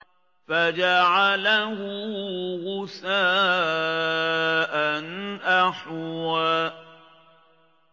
فَجَعَلَهُ غُثَاءً أَحْوَىٰ